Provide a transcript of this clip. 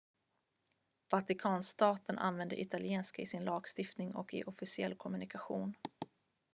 vatikanstaten använder italienska i sin lagstiftning och i officiell kommunikation